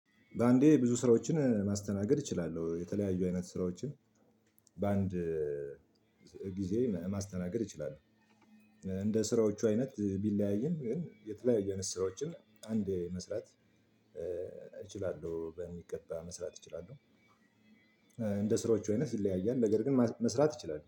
በአንዴ ብዙ ስራዎችን ማስተናገድ እችላለሁ። የተለያዩ አይነት ስራዎችን በአንድ ጊዜ ማስተናገድ እችላለሁ። እንደ ስራዎቹ አይነት ቢለያይም ግን የተለያየ ስራዎችን አንዴ መስራት እችላለሁ፣ በሚገባ መስራት እችላለሁ፣ እንደ ስራዎቹ አይነት ይለያያል፣ ነገር ግን መስ መስራት እችላለሁ።